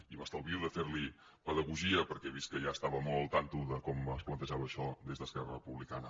i m’estalvio de fer li pedagogia perquè he vist que ja estava molt al cas de com es plantejava això des d’esquerra republicana